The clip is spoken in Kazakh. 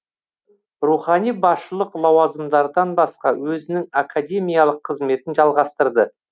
рухани басшылық лауазымдардан басқа өзінің академиялық қызметін жалғастырды